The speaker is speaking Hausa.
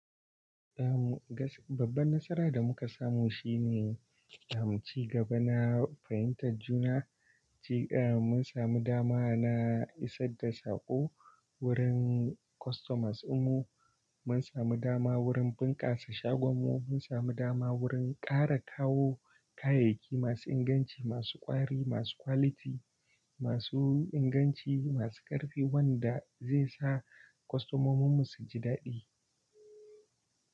Eh mu gas-- babban nasara da muka samu shine, eh mu cigaba na fahimtar juna, cig-- eh mun sami dama na isar da saƙo wurin customers dinmu, munsamu dama wurin bunkasa shagon mu samu dama wurin kara kayayyaki masu inganci masu kwari masu quality masu inganci, masu ƙarfi wanda zai sa customomin mu su ji daɗi.